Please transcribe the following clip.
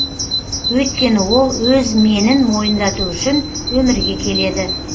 өйткені ол өз менін мойындату үшін өмірге келеді